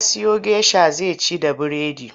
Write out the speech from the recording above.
Ya siyo gesha zai ci da biredi.